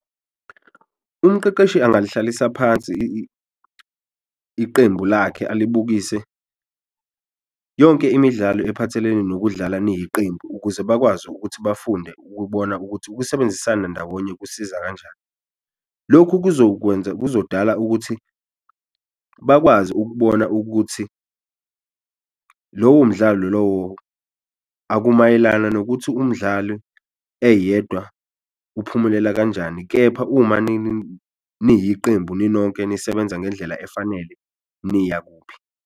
Umqeqeshi angalihlalisa phansi iqembu lakhe alibukise yonke imidlalo ephathelene nokudlala niyiqembu ukuze bakwazi ukuthi bafunde ukubona ukuthi ukusebenzisana ndawonye kusiza kanjani, lokhu kuzokwenza kuzodala ukuthi bakwazi ukubona ukuthi lowo mdlalo lowo akumayelana nokuthi umdlali eyedwa uphumelela kanjani. Kepha uma niyiqembu ninonke, nisebenza ngendlela efanele niya kuphi.